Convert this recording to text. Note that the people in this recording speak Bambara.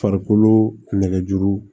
Farikolo nɛgɛjuru